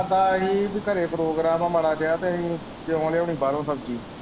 ਆਖਦਾ ਹੀ ਕਿ ਘਰੇ ਪੋ੍ਗਰਾਮ ਏ ਮਾੜਾ ਜਿਹਾ ਤੇ ਅਹੀਂ ਕਿਉਂ ਲਿਆਉਣੀ ਬਾਹਰੋਂ ਸ਼ਬਜੀ।